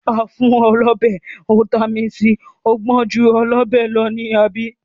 A fún ọ lọ́bẹ, ó tami sì, ó gbọn ju ọlọ́bẹ̀ lọ, àbí?